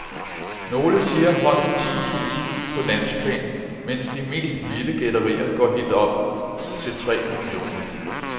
Nogle siger højst ti tusind på landsplan, mens de mest vilde gætterier går helt op til tre millioner.